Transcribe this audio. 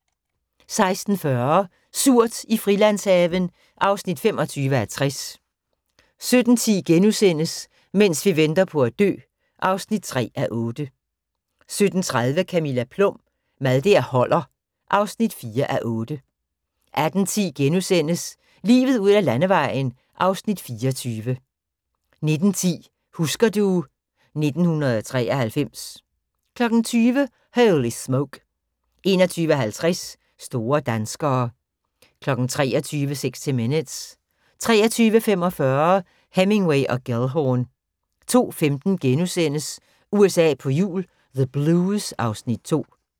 16:40: Surt i Frilandshaven (25:60) 17:10: Mens vi venter på at dø (3:8)* 17:30: Camilla Plum – Mad der holder (4:8) 18:10: Livet ud ad landevejen (Afs. 24)* 19:10: Husker du ... 1993 20:00: Holy Smoke 21:50: Store Danskere 23:00: 60 Minutes 23:45: Hemingway & Gellhorn 02:15: USA på hjul - the Blues (Afs. 2)*